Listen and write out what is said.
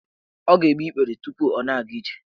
Ọ ga-egbe igbere tupu ọ na-aga ije?